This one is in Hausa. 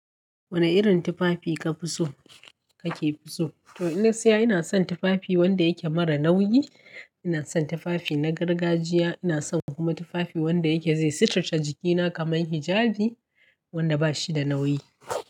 Wane irin tufafi ka fi so, ka ke fi so? To ina siya ina son tufafi wanda yake mara nauyi. Ina son tufafi na gargajiya. Ina son kuma tufafi wanda yake zai suturce jikina kamar hijabi wanda bashi da nauyi.